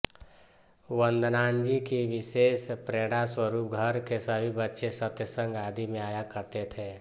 वदनांजी की विशेष प्रेरणास्वरूप घर के सभी बच्चे सत्संग आदि में आया करते थे